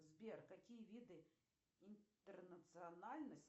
сбер какие виды интернациональность